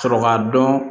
Sɔrɔ k'a dɔn